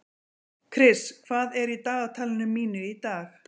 Kris, hvað er í dagatalinu mínu í dag?